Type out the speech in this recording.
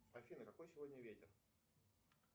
афина какой сегодня ветер